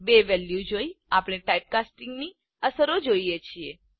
બે વેલ્યુ જોઈ આપણે ટાઇપકાસ્ટિંગની અસરો જોઈએ છીએ